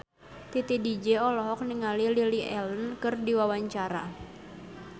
Titi DJ olohok ningali Lily Allen keur diwawancara